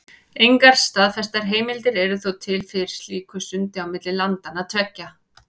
Engar staðfestar heimildir eru þó til fyrir slíku sundi á milli landanna tveggja.